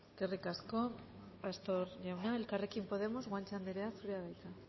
eskerrik asko pastor jauna elkarrekin podemos guanche anderea zurea da hitza